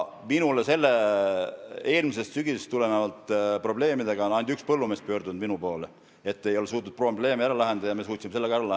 Minu poole on eelmisest sügisest tulenevate probleemidega pöördunud ainult üks põllumees, kes ei olnud suutnud probleemi ära lahendada, ja meie suutsime selle lahendada.